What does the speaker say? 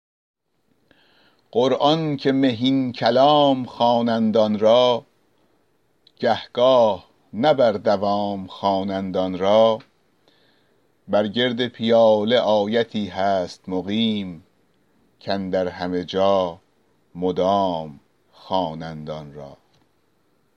قرآن که مهین کلام خوانند آن را گه گاه نه بر دوام خوانند آن را بر گرد پیاله آیتی هست مقیم کاندر همه جا مدام خوانند آن را